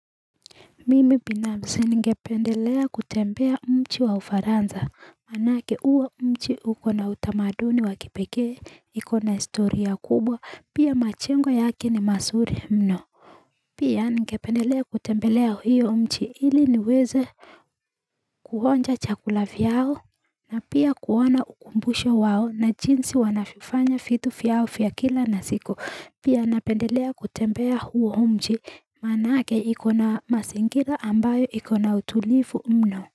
Mimi binafsi ngependelea kutembea mji wa ufaranza, manake uwa umchi ukona utamaduni wakipeke, ikona istoria kubwa, pia machengo yake ni masuri mno. Pia ngependelea kutembelea hiyo mji ili niweze kuonja chakula vyao, na pia kuwana ukumbusha wao na jinsi wanavyofanya vitu vyao vya kila na siu Pia napendelea kutembea huo huo mji manake ikona mazingira ambayo iko na utulifu mno.